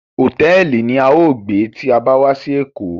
Hotẹẹli ni à yóò gbe ti a ba wà si Eko